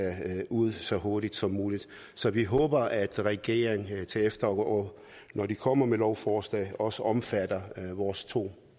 ud så hurtigt som muligt så vi håber at regeringen til efteråret når den kommer med lovforslaget også omfatte vores to